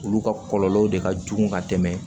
Olu ka kɔlɔlɔ de ka jugu ka tɛmɛ